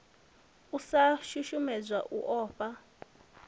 u sa shushedzwa u ofha